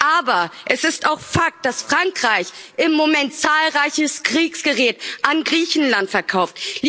Aber es ist auch Fakt, dass Frankreich im Moment zahlreiches Kriegsgerät an Griechenland verkauft.